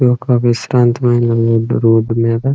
ఒక విశ్రాంతిమైన road road మీద--